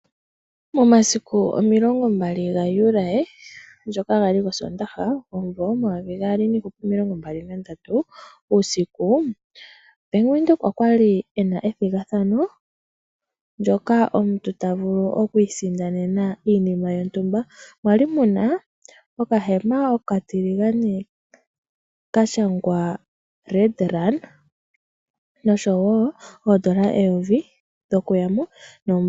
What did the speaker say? Momasiku omilongo mbali gaJuli ndjoka yali osoondaha omuvo omayovi gaali niihupe omilongo mbali nandatu, uusiku Bank Windhoek okwali ena ethigathano. Ndjoka omuntu ta vulu oku isindanena iinima yontumba. Kwali muna okahema okatiligane kashangwa Red Run noshowo oodollar eyovi dhoku yamo.